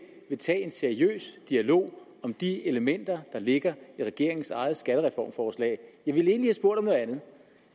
vil tage en seriøs dialog om de elementer der ligger i regeringens eget skattereformforslag jeg ville egentlig have spurgt om noget andet